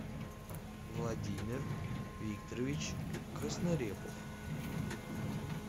владимир викторович краснорепов